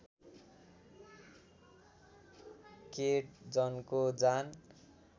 केट जनको जान